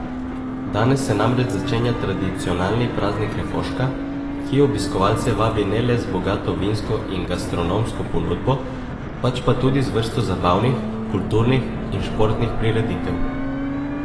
Danes se namreč začenja tradicionalni Praznik refoška, ki obiskovalce vabi ne le z bogato vinsko in gastronomsko ponudbo, pač pa tudi z vrsto zabavnih, kulturnih in športnih prireditev.